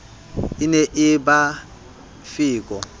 e ne e ba feko